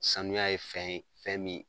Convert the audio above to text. Sanuya ye fɛn ye, fɛn min